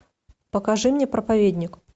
покажи мне проповедник